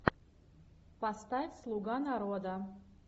поставь слуга народа